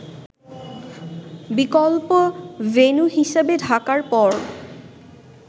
বিকল্প ভেন্যু হিসেবে ঢাকার পর